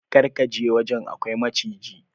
Kar ka je wajen, akwai maciji.